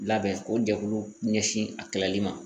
Labɛn o jɛkulu ɲɛsin a kalali ma